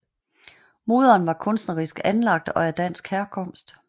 Moderen var kunstnerisk anlagt og af dansk herkomst